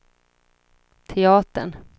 teatern